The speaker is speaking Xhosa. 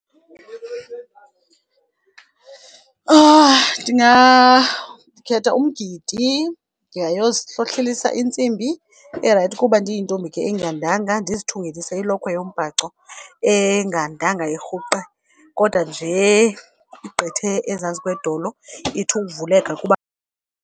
Ndikhetha umgidi. Ndingayozihlohlelisa intsimbi erayithi, kuba ndiyintombi ke engandanga ndizithungelise ilokhwe yombhaco engandanga irhuqe kodwa nje igqithe ezantsi kwedolo ithi ukuvuleka kuba.